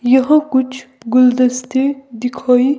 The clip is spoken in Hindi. यहां कुछ गुलदस्ते दिखाई--